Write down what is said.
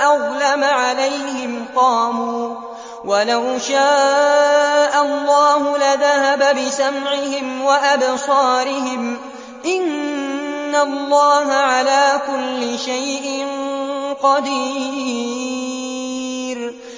أَظْلَمَ عَلَيْهِمْ قَامُوا ۚ وَلَوْ شَاءَ اللَّهُ لَذَهَبَ بِسَمْعِهِمْ وَأَبْصَارِهِمْ ۚ إِنَّ اللَّهَ عَلَىٰ كُلِّ شَيْءٍ قَدِيرٌ